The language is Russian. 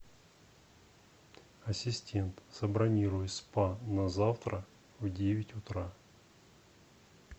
ассистент забронируй спа на завтра в девять утра